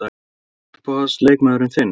Hver er uppáhalds leikmaður þinn?